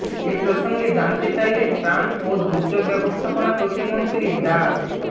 এ প্রসঙ্গে জানতে চাইলে ত্রাণ ও দুর্যোগ ব্যবস্থাপনা প্রতিমন্ত্রী ডা